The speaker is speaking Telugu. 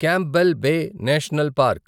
Campbell Bay National park